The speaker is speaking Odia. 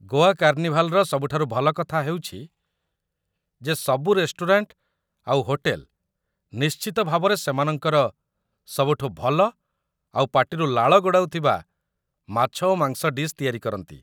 ଗୋଆ କାର୍ଣ୍ଣିଭାଲ୍‌‌ର ସବୁଠାରୁ ଭଲ କଥା ହେଉଛି ଯେ ସବୁ ରେଷ୍ଟୁରାଣ୍ଟ ଆଉ ହୋଟେଲ ନିଶ୍ଚିତ ଭାବରେ ସେମାନଙ୍କର ସବୁଠୁ ଭଲ ଆଉ ପାଟିରୁ ଲାଳ ଗଡ଼ାଉଥିବା ମାଛ ଓ ମାଂସ ଡିଶ୍ ତିଆରି କରନ୍ତି ।